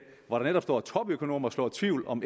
hvor der netop står topøkonomer slår tvivl om